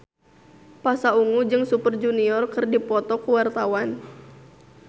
Pasha Ungu jeung Super Junior keur dipoto ku wartawan